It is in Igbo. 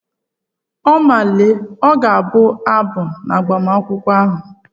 Oma Lee ọ ga-abụ abụ n'agbamakwụkwọ ahụ?